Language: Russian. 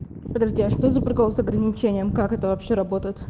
подожди а что за прикол с ограничением как это вообще работает